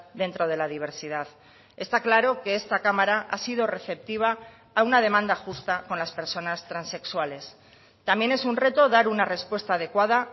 dentro de la diversidad está claro que esta cámara ha sido receptiva a una demanda justa con las personas transexuales también es un reto dar una respuesta adecuada